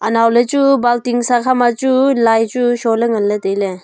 anoaley chu baltin sa khama chu lai chu sho ley ngan ley tai ley.